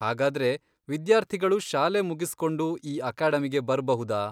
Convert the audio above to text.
ಹಾಗಾದ್ರೆ, ವಿದ್ಯಾರ್ಥಿಗಳು ಶಾಲೆ ಮುಗಿಸ್ಕೊಂಡು ಈ ಅಕಾಡೆಮಿಗೆ ಬರ್ಬಹುದಾ?